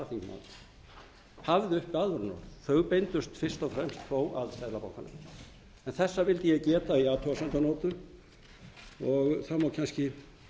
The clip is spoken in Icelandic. varaþingmaður hafði uppi aðvörunarorð þau beindust fyrst og fremst þó að seðlabankanum en þessa vildi ég geta í athugasemdarnótu og það má kannski